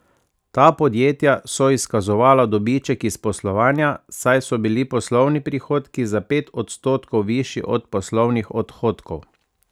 Ta podjetja so izkazovala dobiček iz poslovanja, saj so bili poslovni prihodki za pet odstotkov višji od poslovnih odhodkov.